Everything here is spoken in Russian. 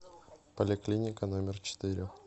поликлиника номер четыре